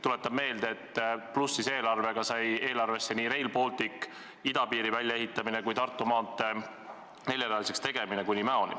Tuletan meelde, et plussis eelarve korral said eelarvesse nii Rail Baltic, idapiiri väljaehitamine kui ka Tartu maantee neljarealiseks tegemine kuni Mäoni.